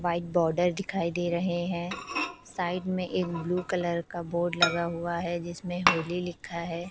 White border दिखाई दे रहे है साइड में एक ब्ल्यू कलर का बोर्ड लगा हुआ है जिसमें होली लिखा है।